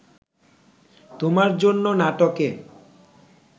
তোমার জন্য নাটকে